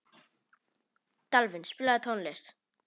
Dalvin, spilaðu tónlist.